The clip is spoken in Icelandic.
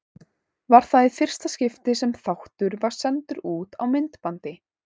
Var það í fyrsta skipti sem þáttur var sendur út á myndbandi.